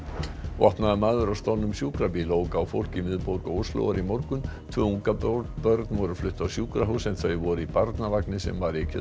vopnaður maður á stolnum sjúkrabíl ók á fólk í miðborg Óslóar í morgun tvö ungabörn voru flutt á sjúkrahús en þau voru í barnavagni sem ekið